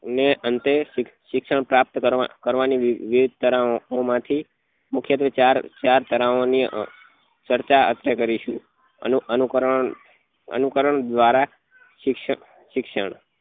અને અંતે શિક્ષણ પ્રાપ્ત કરવા કરવા ની વેદ તરાઓ માં થી મુખ્ય ટ્વે ચાર ચાર તરાઓ ની ચર્ચા આપડે કરીશું અનુ અનુકરણ અનુકરણ દ્વારા શિક્ષણ શિક્ષણ